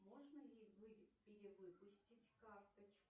можно ли перевыпустить карточку